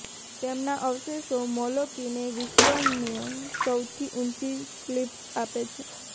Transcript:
તેમના અવશેષો મોલોકીને વિશ્વના સૌથી ઊંચી ક્લિફ્સ આપે છે